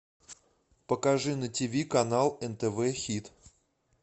покажи на тиви канал нтв хит